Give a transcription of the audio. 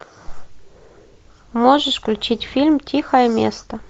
можешь включить фильм тихое место